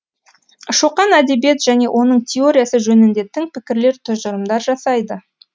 шоқан әдебиет және оның теориясы жөнінде тың пікірлер тұжырымдар жасайды